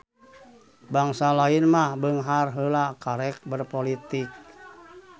Bangsa lain mah beunghar heula karek berpolitik.